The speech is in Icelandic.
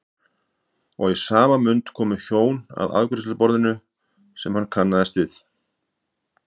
Og í sama mund komu hjón að afgreiðsluborðinu sem hann kannaðist við.